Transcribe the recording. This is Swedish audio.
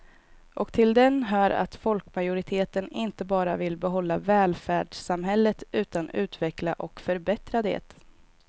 Och till den hör att folkmajoriteten inte bara vill behålla välfärdssamhället utan utveckla och förbättra det.